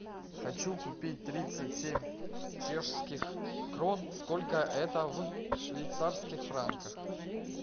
хочу купить тридцать семь чешских крон сколько это в швейцарских франках